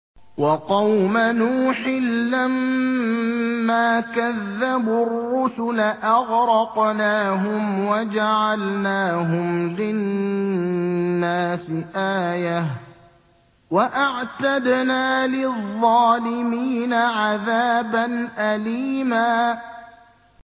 وَقَوْمَ نُوحٍ لَّمَّا كَذَّبُوا الرُّسُلَ أَغْرَقْنَاهُمْ وَجَعَلْنَاهُمْ لِلنَّاسِ آيَةً ۖ وَأَعْتَدْنَا لِلظَّالِمِينَ عَذَابًا أَلِيمًا